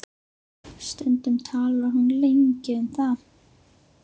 Stundum talar hún lengi um það.